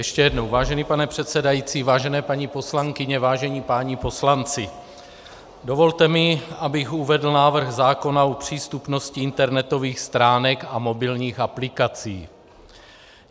Ještě jednou, vážený pane předsedající, vážené paní poslankyně, vážení páni poslanci, dovolte mi, abych uvedl návrh zákona o přístupnosti internetových stránek a mobilních aplikací.